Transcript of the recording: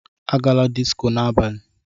Agala disco n'abalị!